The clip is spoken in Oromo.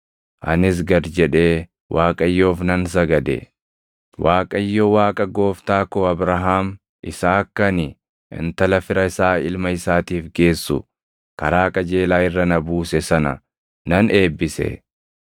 Anis gad jedhee Waaqayyoof nan sagade; Waaqayyo Waaqa gooftaa koo Abrahaam isa akka ani intala fira isaa ilma isaatiif geessu karaa qajeelaa irra na buuse sana nan eebbise.